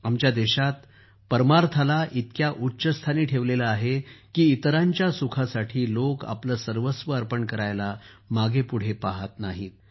आमच्या देशात परमार्थाला इतक्या उच्च स्थानी ठेवलं आहे की इतरांच्या सुखासाठी लोक आपलं सर्वस्व अर्पण करायला मागेपुढं पाहात नाहीत